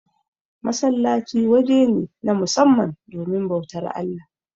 Masallaci waje ne, na musamman domin bautar Allah.